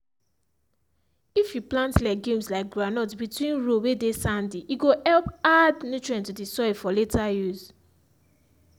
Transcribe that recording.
if you plant legumes like groundnut between row whey dey sandy e go help add nitrogen to the soil for later use